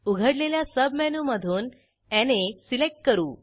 उघडलेल्या सबमेनूमधून Naसिलेक्ट करू